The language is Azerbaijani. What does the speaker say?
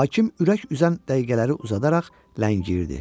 Hakim ürək üzən dəqiqələri uzadaraq ləngiyirdi.